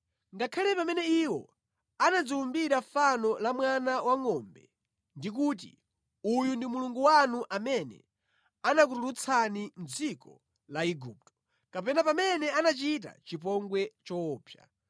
Ngakhale pamene iwo anadziwumbira fano la mwana wangʼombe ndi kuti, ‘Uyu ndi mulungu wanu amene anakutulutsani mʼdziko la Igupto,’ kapena pamene anachita chipongwe choopsa.